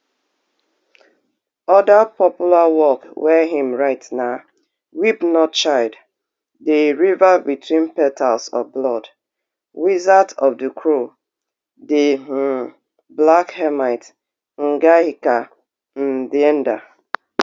oda popular work wey im write na weep not child di river between petals of blood wizard of di crow di um black hermit ngaahika ndeenda